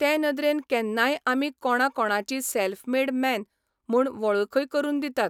ते नदरेन केन्नाय आमीय कोणाकोणाची सॅल्फ मेड मॅन म्हूणन वळखूय करून दितात.